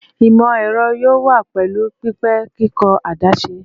Imọ-ẹrọ yoo wa pẹlu pẹpẹ kikọ adaṣe